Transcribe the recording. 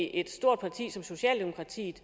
at et stort parti som socialdemokratiet